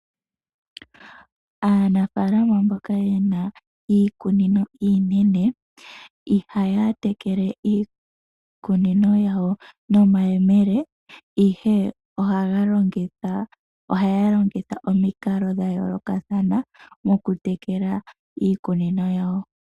Aanafalama mboka yena iikunino iinene ihaya tekele iikunino yawo nomayemele, ihe ohaya longitha omikalo dha yoolokathana mokutekela iikunino yawo.